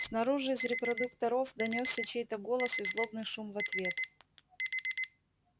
снаружи из репродукторов донёсся чей-то голос и злобный шум в ответ